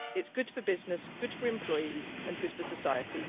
It is good for business, good for employees and good for society.